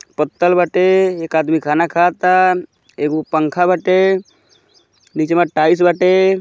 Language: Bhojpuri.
पत्तल बाटे एक आदमी खाना खाता एगो पंखा बाटे नीचवा टाइल्स बाटे।